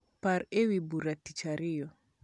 par ewi bura tich ariyo